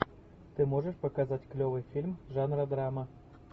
ты можешь показать клевый фильм жанра драма